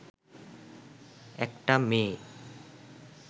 একটা মেয়ে